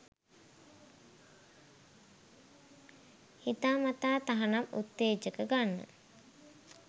හිතාමතා තහනම් උත්තේජක ගන්න